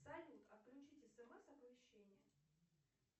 салют отключить смс оповещение